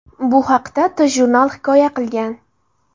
Bu haqda TJournal hikoya qilgan .